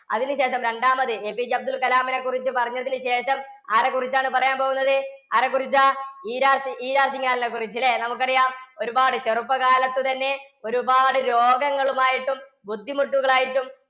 അതിന് ശേഷം രണ്ടാമത് APJ അബ്ദുള്‍കലാമിനെക്കുറിച്ചു പറഞ്ഞതിന് ശേഷം, ആരെക്കുറിച്ചാണ് പറയാന്‍ പോകുന്നത്? ആരെക്കുറിച്ചാ? ഇരാ സിംഗ്, ഇരാ സിഘാളിനെക്കുറിച്ച് ല്ലേ? നമുക്കറിയാം ഒരുപാട് ചെറുപ്പകാലത്തുത്തന്നെ ഒരുപാട് രോഗങ്ങളുമായിട്ടും ബുദ്ധിമുട്ടുകളായിട്ടും